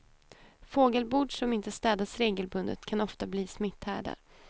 Fågelbord som inte städas regelbundet kan ofta bli smitthärdar.